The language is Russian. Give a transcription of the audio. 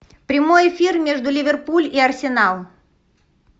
прямой эфир между ливерпуль и арсенал